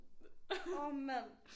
Orh mand